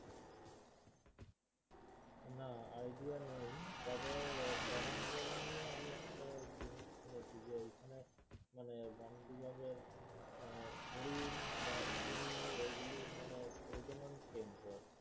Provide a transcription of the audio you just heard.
না Idea নেই তবে করঞ্জলি নিয়ে আমি একটা জিনিস শুনেছি যে মানে বনবিভাগের আহ হরিণ বা কুমীর এইগুলোর মানে প্রজনন কেন্দ্র আর কি